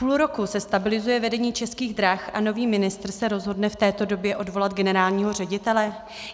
Půl roku se stabilizuje vedení Českých drah a nový ministr se rozhodne v této době odvolat generálního ředitele?